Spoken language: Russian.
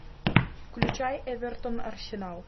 включай эвертон арсенал